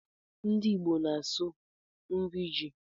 Ndị Igbo na-asụ nri ji